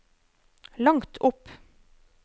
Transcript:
langt opp